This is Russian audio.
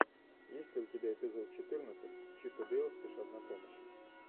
есть ли у тебя эпизод четырнадцать чип и дейл спешат на помощь